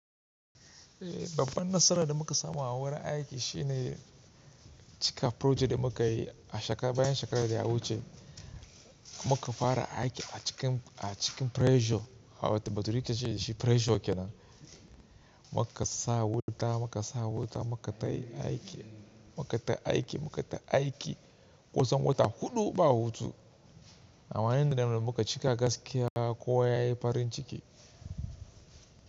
Eh babban nasarar da muka samu a wurin aiki shine cika project da muka yi a shekara bayan shekarar da ya wuce. Muka fara aiki a cikin, a cikin pressure, a wata batirita ce da shi pressure ke nan. Muka sa wuta, muka sa wuta, muka ta aiki, muka ta aiki, muka ta aiki kusan wata huɗu ba hutu. A wayen nan da muka cika gaskiya kowa yayi farin ciki.